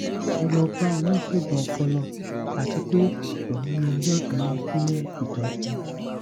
mo lọ bá oníṣègùn ọpọlọ àti pé oní ni ọjọ kìini fún ìtọjú